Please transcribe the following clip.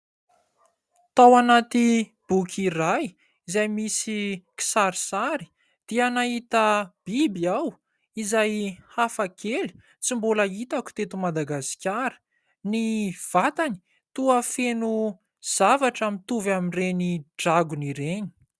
Tao anaty boky iray izay misy kisarisary, dia nahita biby aho izay hafa kely, tsy mbola hitako teto Madagasikara. Ny vatany toa feno zavatra mitovy amin'ireny dragona ireny.